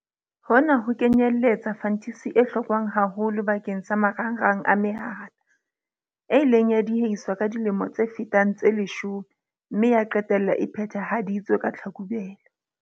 Hona ho kenyeletsa fantisi e hlokwang haholo bakeng sa marangrang a mehala, e ileng ya diehiswa ka dilemo tse fetang tse leshome mme ya qetella e phethahaditswe ka Tlhakubele.